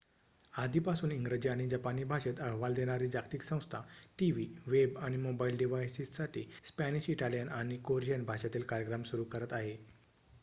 आधीपासून इंग्रजी आणि जपानी भाषेत अहवाल देणारी जागतिक संस्था टीव्ही वेब आणि मोबाइल डिव्हाइससाठी स्पॅनिश इटालियन आणि कोरियन भाषेतील कार्यक्रम सुरू करत आहे